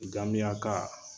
ŋamiyaka